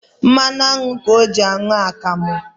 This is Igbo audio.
Mmanụ aṅụ ka ọ jị anwụ akamụ